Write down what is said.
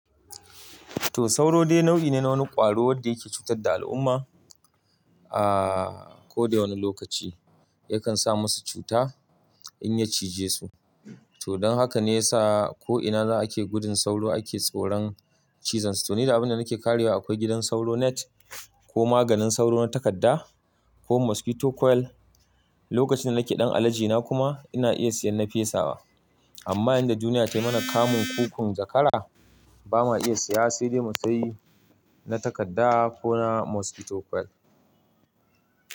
To sauro dai nau'i ne na wani ƙwaro wanda yake cutar da al'umma a ko da wane lokaci. Yakan sa masu cuta in ya cije su. To don haka ne ya sa ko'ina za a ke gudun sauro ake tsoron cizon su. To ni da abin da nake karyewa akwai gidan sauro net ko maganin sauro na takadda ko mosquito coil. Lokacin da nake ɗan alaji na kuma ina iya siyan na fesa wa. Amma yadda duniya tayi mana kamun kukon zakara ba ma iya saya sai dai mu sayi na takadda ko na mosquito coil.